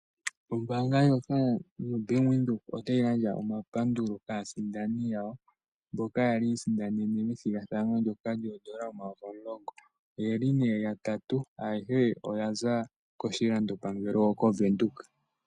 Ombaanga yobank Windhoek otayi gandja omapandulo kaasindani yawo mboka yali yiisindanena omayovi omulongo. Oyeli yatatu ayehe oyaza koshilandopangelo koVenduka.